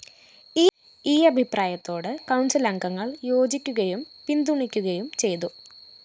ഈ അഭിപ്രായത്തോട് കൗണ്‍സിലംഗങ്ങള്‍ യോജിക്കുകയും പിന്തുണയ്ക്കുകയും ചെയ്തു